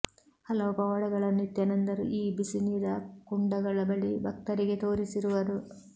ಹಲವು ಪವಾಡಗಳನ್ನು ನಿತ್ಯಾನಂದರು ಈ ಬಿಸಿನೀರ ಕುಂಡಗಳ ಬಳಿ ಭಕ್ತರಿಗೆ ತೋರಿಸಿರುವರು